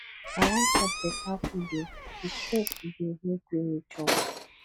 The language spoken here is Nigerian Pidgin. i wan chop beta food o di stress today no gree me chop